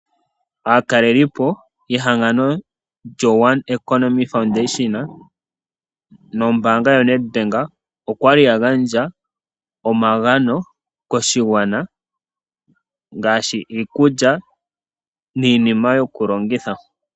Aatalelipo yehangano lyo One Economy Foundation nombaanga yoNedbank okwali ya gandja omagano koshigwana ngaashi iikulya niinima yokulongitha.